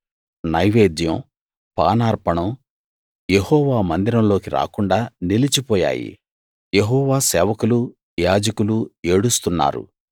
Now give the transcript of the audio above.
నైవేద్యం పానార్పణం యెహోవా మందిరంలోకి రాకుండ నిలిచి పోయాయి యెహోవా సేవకులు యాజకులు ఏడుస్తున్నారు